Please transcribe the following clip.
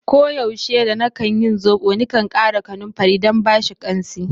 Ko yaushe da na kan yin zobo, ni kan kara kanumfari dan bashi kansi.